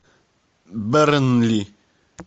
бернли